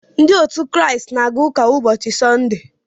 Ndị Kraịst na-aga ụka ụbọchị Sọnde